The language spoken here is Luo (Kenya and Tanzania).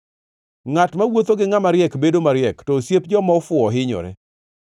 Ngʼat mawuotho gi ngʼama riek bedo mariek, to osiep joma ofuwo hinyore.